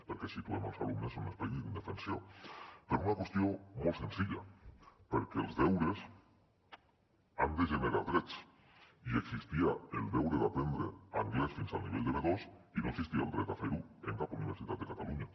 perquè situem els alumnes en un espai d’indefensió per una qüestió molt senzilla perquè els deures han de generar drets i existia el deure d’aprendre anglès fins al nivell de b2 i no existia el dret a fer ho en cap universitat de catalunya